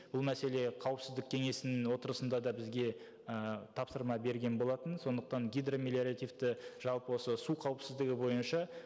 бұл мәселе қауіпсіздік кеңесінің отырысында да бізге ііі тапсырма берген болатын сондықтан гидромелиоративті жалпы осы су қауіпсіздігі бойынша